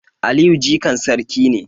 Aliyu jikan sarki ne